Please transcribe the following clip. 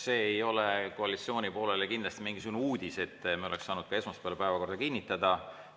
See ei ole koalitsiooni poolele kindlasti mingisugune uudis, et me oleks saanud ka esmaspäeval päevakorra kinnitada.